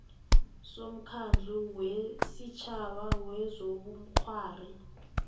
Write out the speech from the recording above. somkhandlu wesitjhaba wezobukghwari